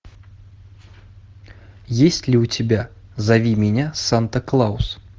есть ли у тебя зови меня санта клаус